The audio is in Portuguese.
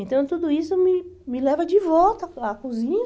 Então, tudo isso me me leva de volta à cozinha.